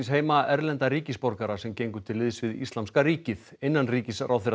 heima erlenda ríkisborgara sem gengu til liðs við Íslamska ríkið